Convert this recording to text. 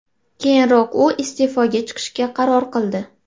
Keyinroq u iste’foga chiqishga qaror qildi.